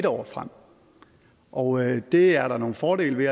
år frem og det er der nogle fordele ved